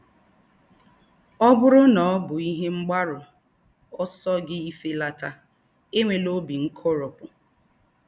Ọ bụrụ na ọ bụ ihe mgbaru ọsọ gị ifelata, enwela obi nkoropụ.